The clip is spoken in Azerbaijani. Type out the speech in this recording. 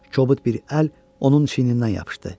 Kobud bir əl onun çiynindən yapışdı.